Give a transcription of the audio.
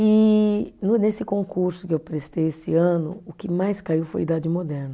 E no nesse concurso que eu prestei esse ano, o que mais caiu foi a Idade Moderna.